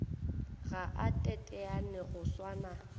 ga a teteane go swana